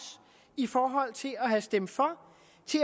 i forhold til at have stemt for